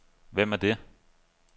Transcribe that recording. Hvem er det